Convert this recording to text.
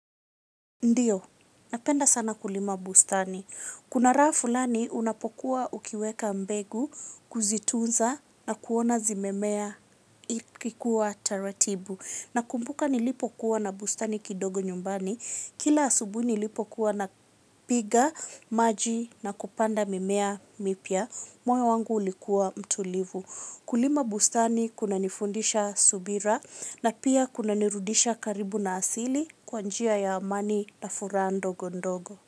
Ndio, napenda sana kulima bustani. Kuna raha fulani unapokuwa ukiweka mbegu, kuzitunza na kuona zimemea zikikua taratibu. Nakumbuka nilipokuwa na bustani kidogo nyumbani. Kila asubuhi nilipokuwa napiga, maji na kupanda mimea mipya. Moyo wangu ulikuwa mtulivu. Kulima bustani kuna nifundisha subira na pia kunanirudisha karibu na asili kwa njia ya mani na furaha ndogondogo.